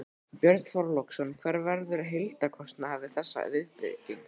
Björn Þorláksson: Hver verður heildarkostnaðurinn við þessa viðbyggingu?